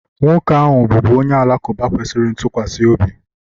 nwoke ahụ bụbu onye Alakụba kwesịrị ntụkwasị obi